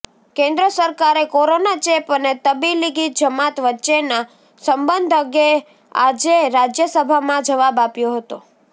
કેન્દ્ર સરકારે કોરોના ચેપ અને તબીલીગી જમાત વચ્ચેના સંબંધ અંગે આજે રાજ્યસભામાં જવાબ આપ્યો હતો